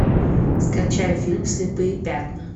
скачай фильм слепые пятна